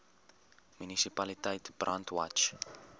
munisipaliteit brandwatch